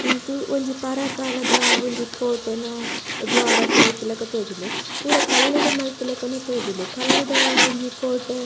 ಉಂದು ಒಂಜಿ ಪರಾ ಕಾಲದ ಒಂಜಿ ಕೋಟೆ ಅಹ್ ದ್ವಾರ ಪೂರ ಇತ್ತಿಲಕ ತೋಜುಂಡು ಪೂರ ಕಲ್ಲುಡು ಮಲ್ತಿಲಕನೆ ತೋಜುಂಡು ಪೂರ ಕಲ್ಲುದ ಒಂಜಿ ಕೋಟೆ --